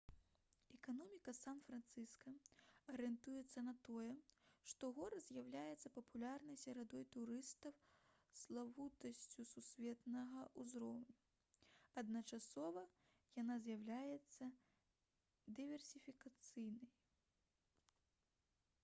эканоміка сан-францыска арыентуецца на тое што горад з'яўляецца папулярнай сярод турыстаў славутасцю сусветнага ўзроўню адначасова яна з'яўляецца дыверсіфікаванай